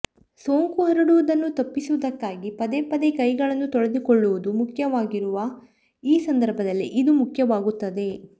ಸೋಂಕು ಹರಡುವುದನ್ನು ತಪ್ಪಿಸುವುದಕ್ಕಾಗಿ ಪದೇ ಪದೇ ಕೈಗಳನ್ನು ತೊಳೆದುಕೊಳ್ಳುವುದು ಮುಖ್ಯವಾಗಿರುವ ಈ ಸಂದರ್ಭದಲ್ಲಿ ಇದು ಮುಖ್ಯವಾಗುತ್ತದೆ